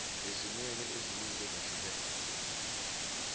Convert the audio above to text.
ezimweni eziningi ezahlukahlukene